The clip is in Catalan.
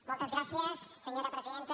moltes gràcies senyora presidenta